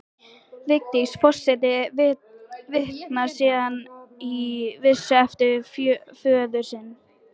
Vigdís forseti vitnar síðan í vísu eftir föður sinn